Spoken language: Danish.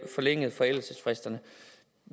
forlænget forældelsesfristerne